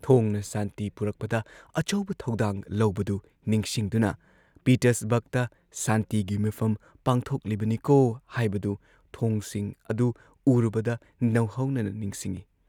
ꯊꯣꯡꯅ ꯁꯥꯟꯇꯤ ꯄꯨꯔꯛꯄꯗ ꯑꯆꯧꯕ ꯊꯧꯗꯥꯡ ꯂꯧꯕꯗꯨ ꯅꯤꯡꯁꯤꯡꯗꯨꯅ ꯄꯤꯇꯔꯁꯕꯔꯒꯇ ꯁꯥꯟꯇꯤꯒꯤ ꯃꯤꯐꯝ ꯄꯥꯡꯊꯣꯛꯂꯤꯕꯅꯤꯀꯣ ꯍꯥꯏꯕꯗꯨ ꯊꯣꯡꯁꯤꯡ ꯑꯗꯨ ꯎꯔꯨꯕꯗ ꯅꯧꯍꯧꯅꯅ ꯅꯤꯡꯁꯤꯡꯏ ꯫